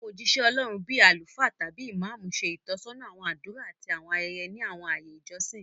Àwọn ójíṣẹ́ Ọlọ́run, bíi àwọn àlùfáà tàbí Ìmámù, ṣe ìtọ́sọ́nà àwọn àdúrà àti àwọn ayẹyẹ ní àwọn ààyè ìjọsìn